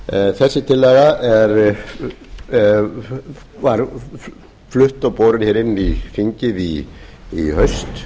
þessi tillaga var flutt og borin inn í þingið í haust